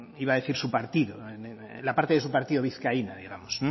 iba decir su partido la parte de su partido vizcaína digamos